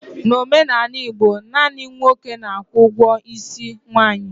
N'omenala Igbo, naanị nwoke na-akwụ ụgwọ isi nwaanyị.